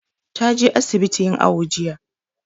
Ta je asibiti yin awo jiya.